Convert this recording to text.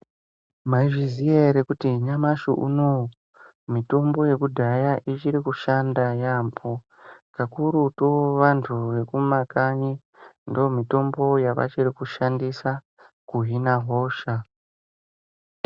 Maizviziva here kuti nyamashi unowu mitombo yekudhaya ichiri kushanda yambo kakurutu vantu Vekumakanyi ndomitombo yavachiri kushandisa kuhina hosha.